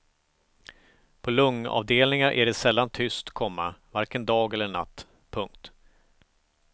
På lungavdelningar är det sällan tyst, komma varken dag eller natt. punkt